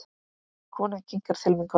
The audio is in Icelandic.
Konan kinkar til mín kolli.